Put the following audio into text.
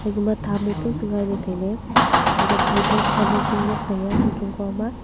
ega ma tham mo pong se ngai ley tailey hatoh phai to pan ozo lot tai a chong chong kua am a.